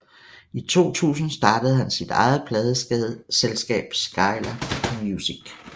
I 2000 startede han sit eget pladeselskab Skylab Music